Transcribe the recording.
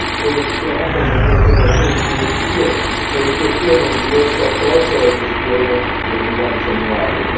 Come dichiarato nelle mie osservazioni introduttive è in questione un diverso approccio alla gestione del bilancio annuale.